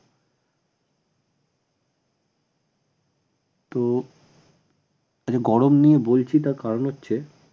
তো গরম নিয়ে বলছি তার কারন হচ্ছে